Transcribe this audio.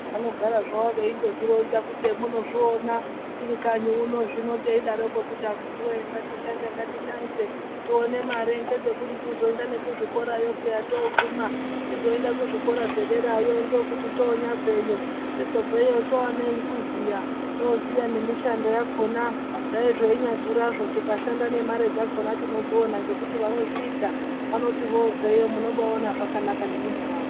Vanogara zvavo veindozvironza kuti emunozviona tiri kanyi uno zvino teidaroko kuti akiti we ngatishande ngatishande tione mare ngedzekuti tizoenda nekuzvikorayo peya toguma tizoenda kuzvikora zvederayo ndokuti tonyabveyo tizobveyo tovane kuziya toziya nemishando yakona , dai zveinyadhura zvo tikashanda nemari dzakona tinodziona ngekuti vanozvita vanoti vobveyo munobaona zvakanaka nemuntaraunda